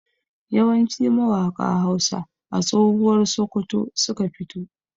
Yawanci mawaƙa Hausa a tsohuwar Sokoto suka fito.